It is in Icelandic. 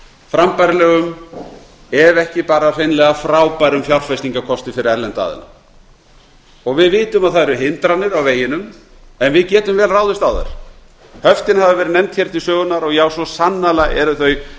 frambærilegum ef ekki bara hreinlega frábærum fjárfestingarkosti fyrir erlenda aðila við vitum að það eru hindranir á veginum en við getum vel ráðist á þær höftin hafa verið nefnd hér til sögunnar og já svo sannarlega eru þau